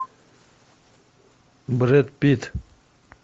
брэд питт